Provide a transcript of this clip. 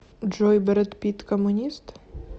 джой брэд питт коммунист